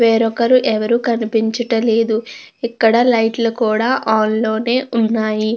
వేరొకరు ఎవరు కనిపించుట లేదు ఇక్కడ లైట్ లు కూడ ఆన్ లోనే ఉన్నాయి.